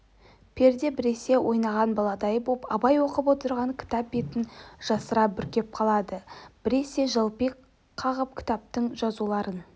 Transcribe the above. перде біресе ойнаған баладай боп абай оқып отырған кітап бетн жасыра бүркеп қалады бресе желпи қағып ктаптың жазуларын